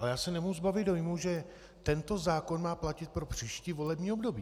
Ale já se nemůžu zbavit dojmu, že tento zákon má platit pro příští volební období.